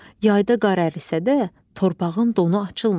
Yayda qar ərisə də, torpağın donu açılmır.